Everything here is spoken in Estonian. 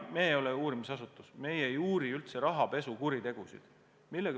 Meie ei ole uurimisasutus, meie ei uuri üldse rahapesukuritegusid.